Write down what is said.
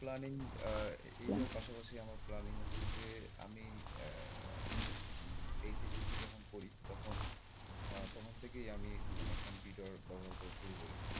planning এর পাশপাশি আমার planning হচ্ছে যে আমি উম HSC তে যখন পড়ি তখন তখন থেকেই আমি মানে কম্পিউটারের ব্যাবহার করা শুরু করি।